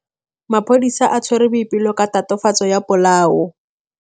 Maphodisa a tshwere Boipelo ka tatofatsô ya polaô.